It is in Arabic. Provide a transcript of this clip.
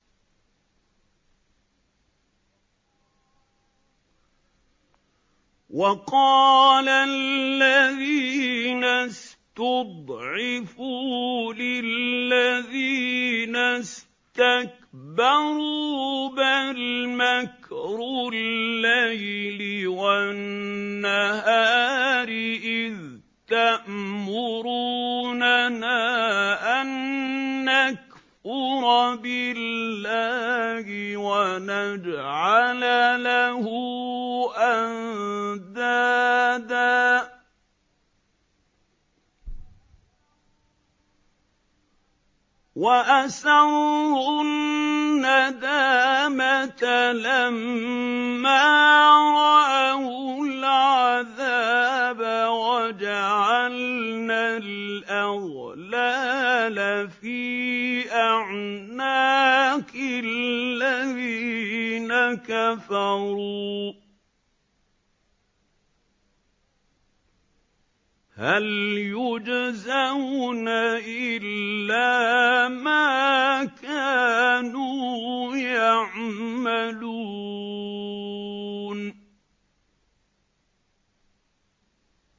وَقَالَ الَّذِينَ اسْتُضْعِفُوا لِلَّذِينَ اسْتَكْبَرُوا بَلْ مَكْرُ اللَّيْلِ وَالنَّهَارِ إِذْ تَأْمُرُونَنَا أَن نَّكْفُرَ بِاللَّهِ وَنَجْعَلَ لَهُ أَندَادًا ۚ وَأَسَرُّوا النَّدَامَةَ لَمَّا رَأَوُا الْعَذَابَ وَجَعَلْنَا الْأَغْلَالَ فِي أَعْنَاقِ الَّذِينَ كَفَرُوا ۚ هَلْ يُجْزَوْنَ إِلَّا مَا كَانُوا يَعْمَلُونَ